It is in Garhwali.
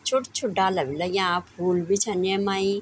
छोट-छोट डाला भी लग्याँ फूल भी छन येमाई।